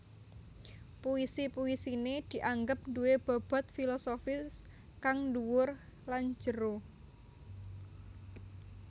Puisi puisiné dianggep duwé bobot filosofis kang dhuwur lan jero